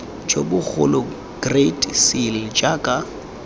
jo bogolo great seal jaaka